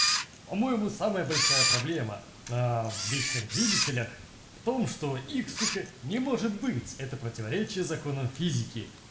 по-моему самая большая проблема в вечных двигателях в том что их сука не может быть это противоречит законам физики